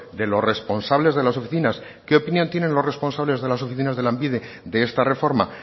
de los responsables de las oficinas qué opinión tienen los responsables de las oficinas de lanbide de esta reforma